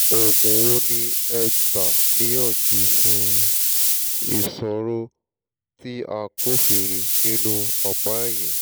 òògùn wo ni ẹ gbà níyànjú fún ìṣòro tí a kófìrí nínú ọ̀pá ẹ̀yìn?